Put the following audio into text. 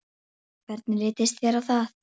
Taktu ekki mark á honum.